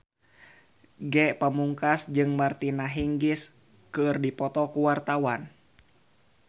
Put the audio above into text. Ge Pamungkas jeung Martina Hingis keur dipoto ku wartawan